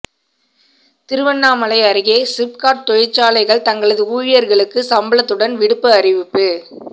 திருவண்ணாமலை அருகே சிப்காட் தொழிற்சாலைகள் தங்களது ஊழியர்களுக்கு சம்பளத்துடன் விடுப்பு அறிவிப்பு